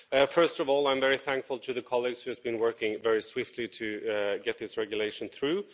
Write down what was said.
First of all, I'm very thankful to the colleagues who have been working very swiftly to get this regulation through.